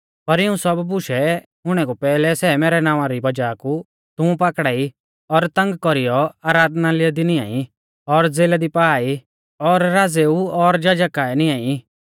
पर इऊं सब बुशै हुणै कु पैहलै सै मैरै नावां री वज़ाह कु तुमु पाकड़ाई और तंग कौरीयौ आराधनालय दी निआं ई और ज़ेला दी पा ई और राज़ेऊ और जजा काऐ निआं ई